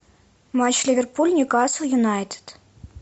матч ливерпуль ньюкасл юнайтед